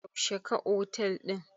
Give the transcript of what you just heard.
Yaushe ka otel ɗin?